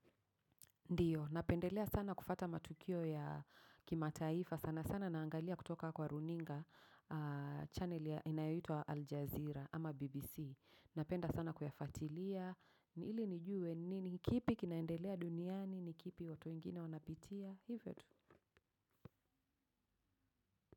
Ndiyo. Napendelea sana kufuata matukio ya kimataifa. Sana sana naangalia kutoka kwa runinga channel ya inayitwa Aljazeera ama BBC. Napenda sana kuyafatilia. Nili nijue nini? Kipi kinaendelea duniani? Kipi watu wengine wanapitia? Hivyo tu.